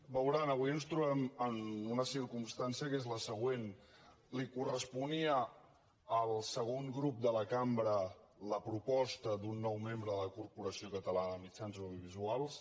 veuran avui ens trobem en una circumstància que és la següent li corresponia al segon grup de la cambra la proposta d’un nou membre de la corporació catalana de mitjans audiovisuals